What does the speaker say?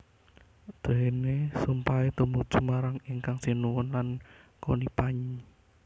Déné sumpahé tumuju marang Ingkang Sinuhun lan Conipagnie